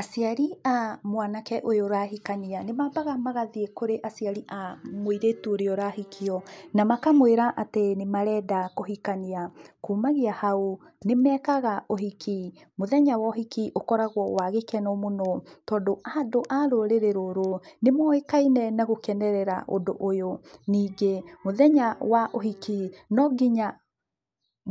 Aciari a mwanake ũyũ ũrahikania nĩ mabaga magathiĩ kũrĩ aciari a mũirũtu ũrĩa ũrahikio, na makamwĩra atĩ nĩ marenda kũhikania. Kumagia hau nĩ mekaga ũhiki, mũthenya wa ũhiki ũkoragwo wa gĩkeno mũno tondũ andũ a rũrĩrĩ rũrũ nĩ moĩkaine na gũkenerera ũndũ ũyũ. Ningĩ mũthenya wa ũhiki nonginya